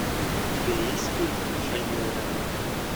у тебя есть фильм шальное ранение